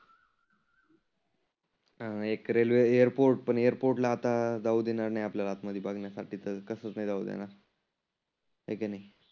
अं एक railway airport पण एअरपोर्टला आता जाऊ देणार नाही आपल्याला मधी बघण्यासाठी. कारण कसच नाही जाऊ देणार. हाय की नाही?